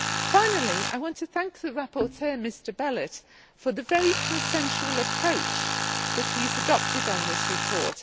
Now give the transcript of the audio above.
Finally, I want to thank the rapporteur, Mr Belet, for the very consensual approach that he has adopted on this report.